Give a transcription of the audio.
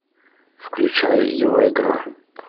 включай его игра